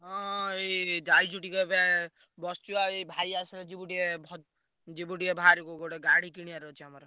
ହଁ ହଁ ଏଇ ଯାଇଛୁ ଟିକେ ଏବେ ବସଚୁ ବା ଏଇ ଭାଇ ଯିବୁ ଟିକେ ଭ~ ଯିବୁ ଟିକେ ବାହାରକୁ ଗୋଟେ ଗାଡି କିଣିଆର ଅଛି ଆମର।